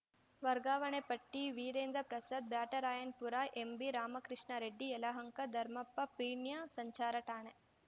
ವರ್ಗಾವಣೆ ಪಟ್ಟಿ ವೀರೇಂದ್ರ ಪ್ರಸಾದ್‌ ಬ್ಯಾಟರಾಯನಪುರ ಎಂಬಿರಾಮಕೃಷ್ಣ ರೆಡ್ಡಿ ಯಲಹಂಕ ಧರ್ಮಪ್ಪ ಪೀಣ್ಯ ಸಂಚಾರ ಠಾಣೆ